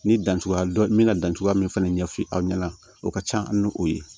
Ni dancogoya dɔn n bɛna dan cogoya min fana ɲɛfɔ aw ɲɛna o ka ca an ni o ye